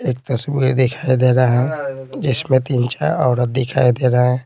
एक तस्वीर दिखाई दे रहा है जिसमें तीन-चार औरत दिखाई दे रहे हैं।